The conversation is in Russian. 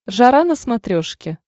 жара на смотрешке